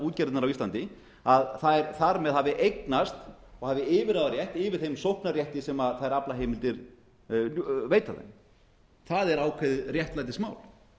útgerðirnar á íslandi þær þar með hafi eignast og hafi yfirráðarétt yfir þeim sóknarrétti sem þær aflaheimildir veita þeim það er ákveðið réttlætismál